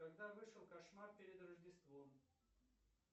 когда вышел кошмар перед рождеством